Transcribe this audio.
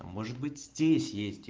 а может быть здесь